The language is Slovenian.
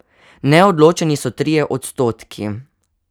Neodločeni so trije odstotki.